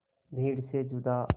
भीड़ से जुदा